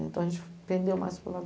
Então a gente aprendeu mais com a